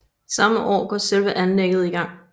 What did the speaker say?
Samme år går selve anlægget i gang